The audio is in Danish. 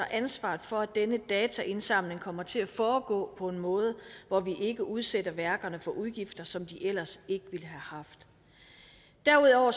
ansvaret for at denne dataindsamling kommer til at foregå på en måde hvor vi ikke udsætter værkerne for udgifter som de ellers ikke ville have haft derudover